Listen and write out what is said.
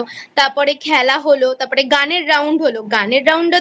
তারপরে খেলা হল তারপরে গানের Round হল গানের Round এ তো